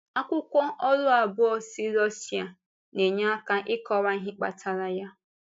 Akwụkwọ ọrụ abụọ si Russia na-enye aka ịkọwa ihe kpatara ya.